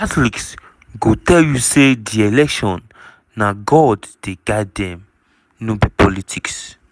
catholics go tell you say di election na god dey guide dem no be politics.